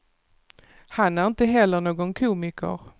Han är inte heller någon komiker.